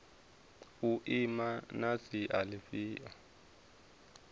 u ima na sia lifhio